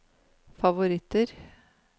favoritter